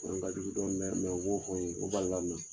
Fana ka jugu dɔɔni mɛ u m'o fɔ n yen o balila n na